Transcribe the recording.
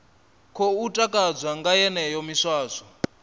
khou takadzwa nga yeneyo miswaswo